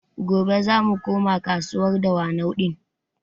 Gobe zamu koma kasuwar Dawanau ɗin